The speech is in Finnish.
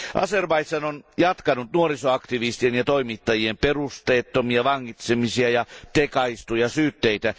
Azerbaidžan on jatkanut nuorisoaktivistien ja toimittajien perusteettomia vangitsemisia ja tekaistuja syytteitä.